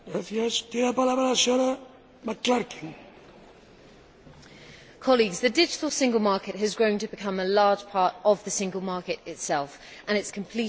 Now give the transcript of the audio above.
Mr President, colleagues, the digital single market has grown to become a large part of the single market itself and its completion is of major importance.